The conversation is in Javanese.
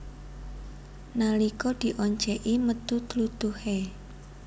Nalika dioncèki metu tlutuhé